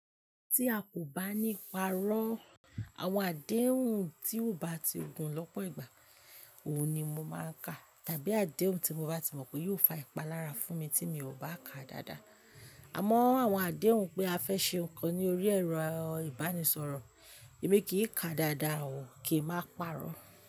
Tí a kò bá ní párọ́, àwọn àdéhùn tí ò bá ti gun lọ́pọ̀ ìgbà, òun ni mo máa ń ka, tàbí àdéhùn tí mo bá ti mọ̀ pé yóò fa ìpalára fún mi tí mi ò bá ka dáadáa. Àmọ́ àwọn àdéhùn pé a fẹ́ ṣe nǹkan ní orí ẹ̀rọ ìbánisọ̀rọ̀, èmi kìí ka dáadáa o kín ma párọ́.